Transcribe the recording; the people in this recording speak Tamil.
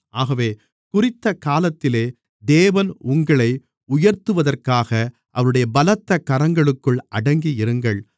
ஆகவே குறித்தக் காலத்திலே தேவன் உங்களை உயர்த்துவதற்காக அவருடைய பலத்த கரங்களுக்குள் அடங்கி இருங்கள்